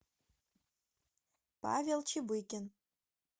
павел чебыкин